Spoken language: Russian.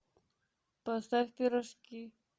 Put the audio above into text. поставь пирожки